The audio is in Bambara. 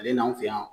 Ale n'an fɛ yan